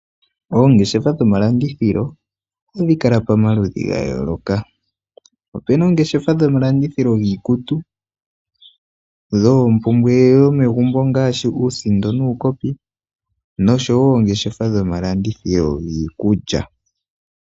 Oongeshefa dhomalandithilo ohadhi kala pamaludhi ga yooloka. Opena oongeshefa dhomalandithilo giikutu, iikukya yomaludhi ga yooloka, dhi kwatelwa ngaashi uusindo nuukopi.